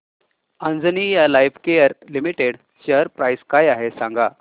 Anjaneya Lifecare limited share price काय आहे सांगा